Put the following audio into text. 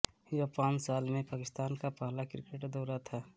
यह पांच साल में पाकिस्तान का पहला क्रिकेट दौरा था